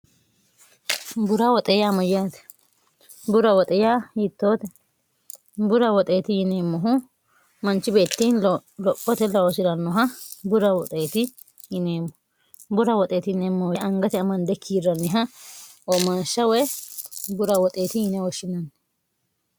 bura woxeeya amayyaate bura woxiya yittoote bura woxeeti yineemmohu manchi beettiin lophote layoshi'rannoha bura woxeeti yineemmo bura woxeeti yineemmoohe angate amande kiirranniha omashsha woye bura woxeeti yinywoshshinanni